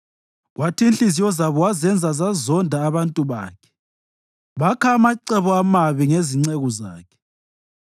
kwathi inhliziyo zabo wazenza zazonda abantu bakhe, bakha amacebo amabi ngezinceku zakhe.